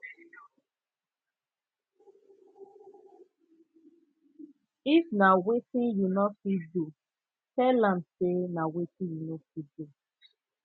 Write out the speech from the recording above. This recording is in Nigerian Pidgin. if na wetin you no fit do tell am say na wetin you no fit do